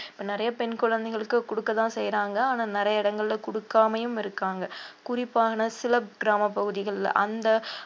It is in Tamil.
இப்ப நிறைய பெண் குழந்தைகளுக்கு குடுக்கதான் செய்யறாங்க ஆனா நிறைய இடங்கள்ல குடுக்காமையும் இருக்காங்க குறிப்பான சில கிராமப் பகுதிகள்ல அந்த